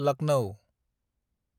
Lucknow